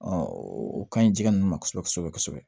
o kaɲi jɛgɛ ninnu ma kosɛbɛ kosɛbɛ